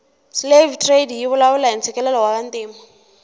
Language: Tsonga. slave trade yivulavula hhintsikelelo wavantima